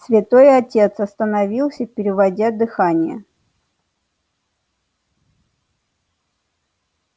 святой отец остановился переводя дыхание